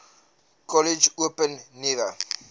kollege open nuwe